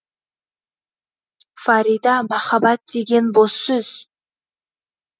фарида махаббат деген бос сөз